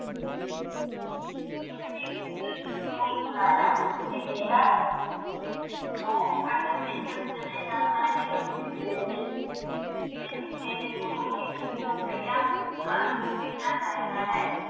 ਉਸਨੂੰ ਕੋਲ ਬੁਲਾਇਆ ਤੇ ਕਿਹਾ। ਉਹ ਅੱਜ ਮੇਹਨਤ ਕਰੇਗਾ ਤਾਹਿ ਰੋਟੀ ਮਿਲੇਗੀ। ਮੈਨੂੰ ਤੇਰੇ ਕੋਲ ਇੱਕ ਸੋ ਰੁਪਈਆ ਹਰ ਰੋਜ਼ ਮਿਲਣਾ ਚਾਹੀਦਾ ਹੈ।